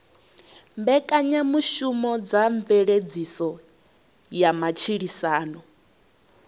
mbekanyamushumo dza mveledziso ya matshilisano